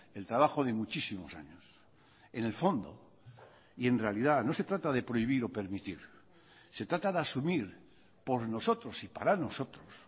el trabajo de muchísimos años en el fondo y en realidad no se trata de prohibir o permitir se trata de asumir por nosotros y para nosotros